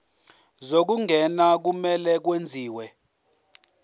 zokungena kumele kwenziwe